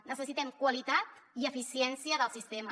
necessitem qualitat i eficiència del sistema